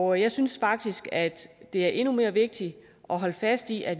og jeg synes faktisk at det er endnu mere vigtigt at holde fast i at